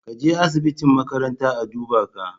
Ka je asibiti makaranta a duba ka